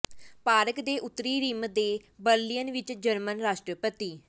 park ਦੇ ਉੱਤਰੀ rim ਤੇ ਬਰਲਿਨ ਵਿੱਚ ਜਰਮਨ ਰਾਸ਼ਟਰਪਤੀ